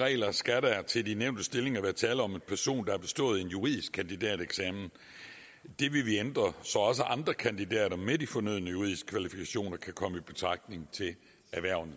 regler skal der til de nævnte stillinger være tale om en person der har bestået en juridisk kandidateksamen det vil vi ændre så også andre kandidater med de fornødne juridiske kvalifikationer kan komme i betragtning til hvervene